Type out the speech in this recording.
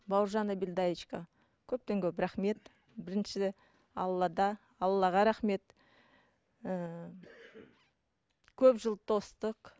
бауыржан әбілдаевичке көптен көп рахмет бірінші аллада аллаға рахмет ііі көп жыл тостық